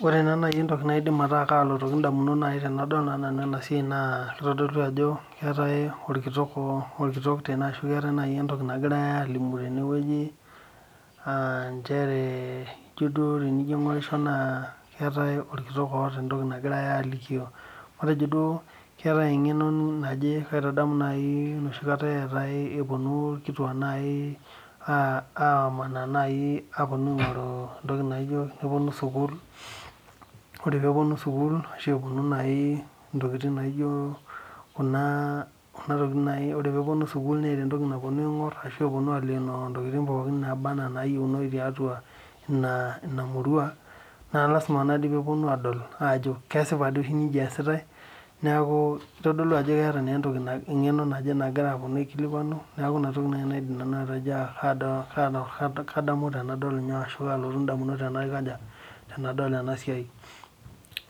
Ore entoki nagira aasa tene naa keetai olkitok ashu entoki nagirai aalimu olkitok matejo duo keetai engeno naje enoshikata duo epuonu ilkituak aamanaa naji nepuonu entoki naijo sukuul ashu epuonu aaleeno ntokiting pookin naaba enaa naayieunoyu tiatu ina murua naa lasima peepuonu aadol ajo kesipa doi oshi ajo nija easitai neaku itodolu ajo keeta engeno naje nagirai aikilikwanu